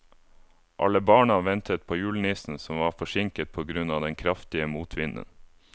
Alle barna ventet på julenissen, som var forsinket på grunn av den kraftige motvinden.